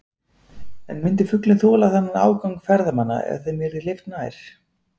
En myndi fuglinn þola þennan ágang ferðamanna ef þeim yrði hleypt nær?